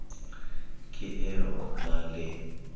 ke e o na le